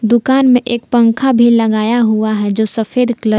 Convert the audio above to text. दुकान में एक पंखा भी लगाया हुआ है जो सफेद कलर --